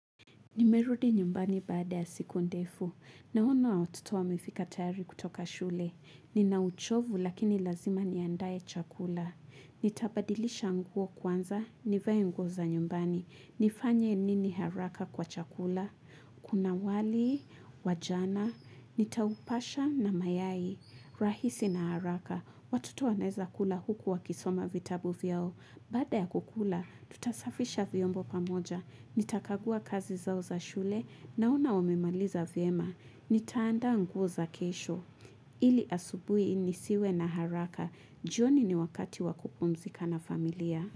Nimerudi nyumbani baada ya siku ndefu. Naona watoto wamefika tayari kutoka shule. Nina uchovu lakini lazima niandae chakula. Nitabadilisha nguo kwanza, nivae nguo za nyumbani. Nifanye nini haraka kwa chakula. Kuna wali, wa jana, nitaupasha na mayai. Rahisi na haraka. Watoto wanaeza kula huku wakisoma vitabu vyao. Baada ya kukula, tutasafisha vyombo pamoja. Nitakagua kazi zao za shule naona wamemaliza vyema. Nitaandaa nguo za kesho. Ili asubuhi nisiwe na haraka. Jioni ni wakati wakupumzika na familia.